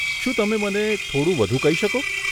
શું તમે મને થોડું વધુ કહી શકો?